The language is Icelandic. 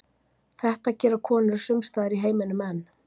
Þetta gera konur sumstaðar í heiminum enn.